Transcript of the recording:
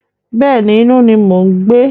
Bẹ́ẹ̀ni, inú ni mò ń gbé.